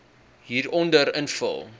hieronder invul